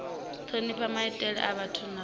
thonifha maitele a vhathu na